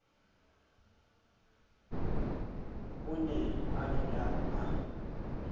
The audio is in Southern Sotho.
o ne a dula a